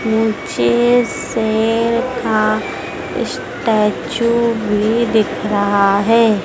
मुझे शेर का स्टेचू भी दिख रहा है।